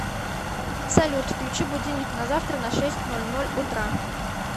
салют включи будильник на завтра на шесть ноль ноль утра